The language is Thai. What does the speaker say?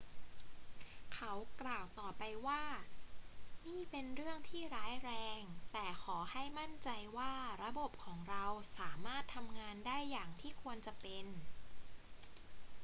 เขากล่าวต่อไปว่า นี่เป็นเรื่องที่ร้ายแรง แต่ขอให้มั่นใจว่าระบบของเราสามารถทำงานได้อย่างที่ควรจะเป็น